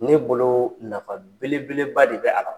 Ne bolo nafa belebeleba de bɛ a la.